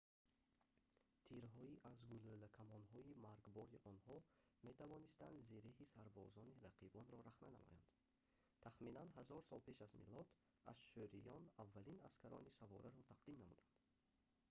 тирҳои аз гулӯлакамонҳои маргбори онҳо метавонистанд зиреҳи сарбозони рақибонро рахна намоянд тахминан 1000 сол пеш аз милод ашшуриён аввалин аскарони савораро тақдим намуданд